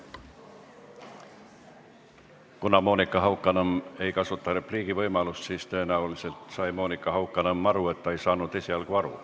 Kuna Monika Haukanõmm ei kasuta repliigivõimalust, siis tõenäoliselt sai ta aru, et ta ei saanud esialgu aru.